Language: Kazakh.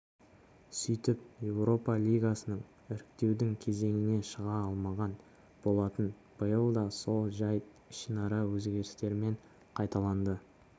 сөйтіп еуропа лигасына іріктеудің кезеңіне шыға алмаған болатын биыл да сол жайт ішінара өзгерістермен қайталанды